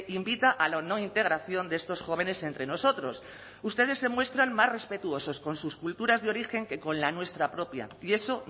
invita a la no integración de estos jóvenes entre nosotros ustedes se muestran más respetuosos con sus culturas de origen que con la nuestra propia y eso